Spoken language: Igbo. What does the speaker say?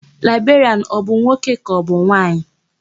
Laịberịanụ ọ bụ nwoke kaọbụ nwaanyị?